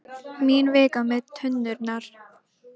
Mín vika með tunnurnar.